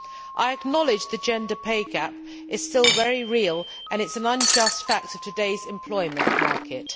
I acknowledge the gender pay gap is still very real and it is an unjust fact of today's employment market.